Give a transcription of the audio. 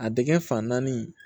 A dingɛ fan naani